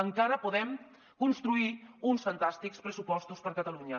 encara podem construir uns fantàstics pressupostos per a catalunya